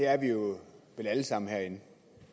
er vi vel alle sammen herinde